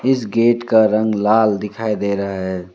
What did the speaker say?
इस गेट का रंग लाल दिखाई दे रहा है।